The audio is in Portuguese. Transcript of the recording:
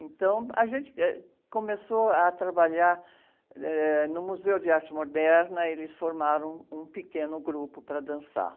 Então, a gente, eh, começou a trabalhar, eh, no Museu de Arte Moderna, eles formaram um pequeno grupo para dançar.